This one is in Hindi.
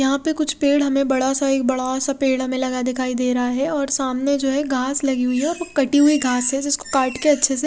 यहाँ पे कुछ पेड़ हमे बड़ा सा एक बड़ा सा पेड़ हमे लगा दिखाई दे रहा है और सामने जो है घास लगी हुई है और वो कटी हुई घास है जिसको काट के अच्छे से--